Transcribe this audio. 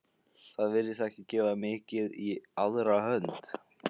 Það virtist ekki gefa mikið í aðra hönd.